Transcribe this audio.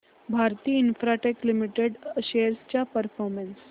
Bharti Infratel limited shares चा performance